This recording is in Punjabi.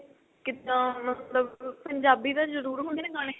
ਕਿੱਦਾਂ ਮਤਲਬ ਪੰਜਾਬੀ ਤਾਂ ਜਰੂਰ ਹੁੰਦੇ ਨੇ ਗਾਣੇ